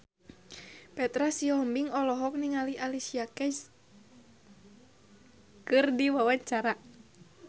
Petra Sihombing olohok ningali Alicia Keys keur diwawancara